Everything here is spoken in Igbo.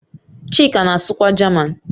Chika na-asụkwa Jaman